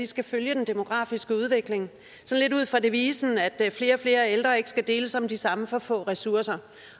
skal følge den demografiske udvikling lidt ud fra devisen at flere og flere ældre ikke skal deles om de samme for få ressourcer